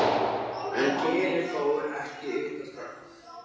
En Gerður fór ekki utan strax.